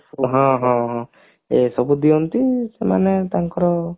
ହଁ ହଁ ହଁ ଏ ସବୁ ଦିଅନ୍ତି ସେମାନେ ତାଙ୍କର